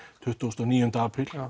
tuttugu og níu apríl já